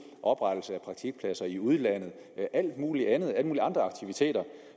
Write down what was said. oprettelse af praktikpladser i udlandet alt muligt andet og alle mulige andre aktiviteter